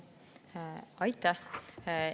Aitäh!